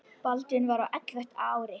Baldvin var á ellefta ári.